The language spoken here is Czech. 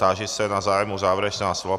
Táži se na zájem o závěrečná slova.